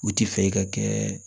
U ti fɛ e ka kɛ